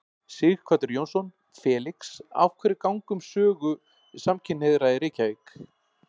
Sighvatur Jónsson: Felix, af hverju ganga um sögu samkynhneigðra í Reykjavík?